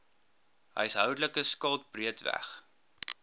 huishoudelike skuld breedweg